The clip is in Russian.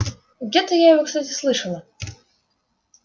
где-то я его кстати слышала